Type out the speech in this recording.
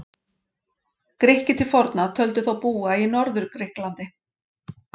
Grikkir til forna töldu þá búa í Norður-Grikklandi.